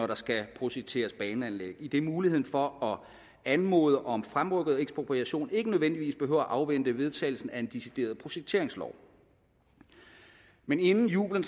der skal projekteres baneanlæg idet muligheden for at anmode om fremrykket ekspropriation ikke nødvendigvis behøver afvente vedtagelsen af en decideret projekteringslov men inden jubelen